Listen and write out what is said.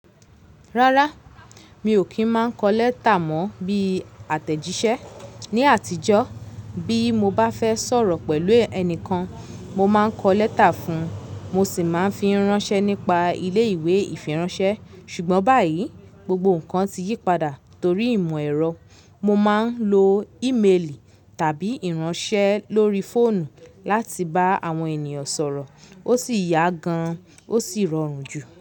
Rárá, mi ò kí ń máa ń kọ lẹ́tà mọ́ bí àtẹ̀jíṣẹ́. Ni àtijọ́, bí mo bá fẹ́ sọ̀rọ̀ pẹ̀lú ẹnìkan, mo máa ń kọ lẹ́tà fún un, mo sì máa ń fi ránṣẹ́ nípa ilé ìwé ìfiránṣẹ́. Ṣùgbọ́n báyìí, gbogbo ǹkan ti yípadà torí ìmò ẹ̀rọ. Mo máa ń lo ímeèlì tàbí ìránṣẹ́ lórí fóònù láti bá àwọn ènìyàn sọ̀rọ̀. Ó sì yá gan, ó sì rọrùn jù.